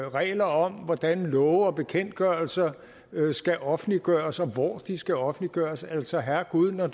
regler om hvordan love og bekendtgørelser skal offentliggøres og hvor de skal offentliggøres altså herregud når